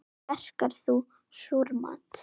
Verkar þú súrmat?